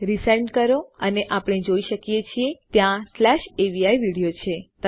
resend કરો અને આપણે જોઈ શકીએ છીએ ત્યાં સ્લેશ અવી વિડિઓ છે